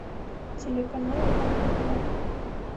телеканал рбк